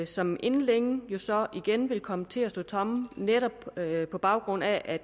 som inden længe jo så igen vil komme til at stå tomme netop på baggrund af at